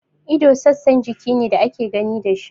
Ido sassan jiki ne da ake gani da shi.